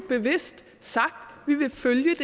bevidst sagt